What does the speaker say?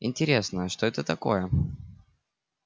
интересно что это такое